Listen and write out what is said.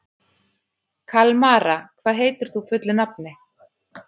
Kalmara, hvað heitir þú fullu nafni?